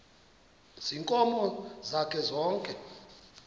ziinkomo zakhe zonke